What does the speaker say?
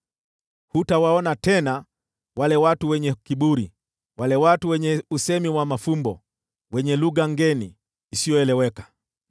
Hutawaona tena wale watu wenye kiburi, wale watu wenye usemi wa mafumbo, wenye lugha ngeni, isiyoeleweka.